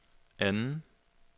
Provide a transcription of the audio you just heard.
anden